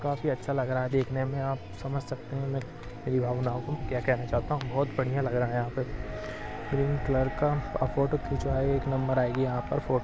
काफी अच्छा लग रहा है देखने में आप समझ सकते है मेरी भावनाओं को क्या कहना चाहता हूँ बहुत बढ़िया लग रहा है यहाँ पे ग्रीन कलर का आप फोटो खिचवाए एक नंबर आएगी यहाँ पर फोटो --